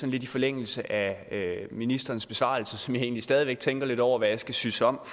lidt i forlængelse af ministerens besvarelse som jeg egentlig stadig væk tænker lidt over hvad jeg skal synes om